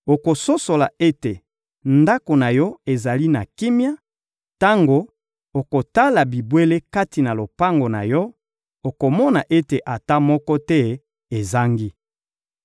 Okososola ete ndako na yo ezali na kimia; tango okotala bibwele kati na lopango na yo, okomona ete ata moko te ezangi.